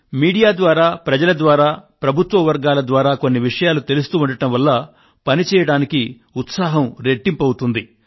ప్రసార మాధ్యమాల ద్వారా ప్రజల ద్వారా ప్రభుత్వ వర్గాల ద్వారా కొన్ని విషయాలు తెలుస్తూ ఉండడం వల్ల పని చేయడానికి ఉత్సాహం రెట్టింపు అవుతుంది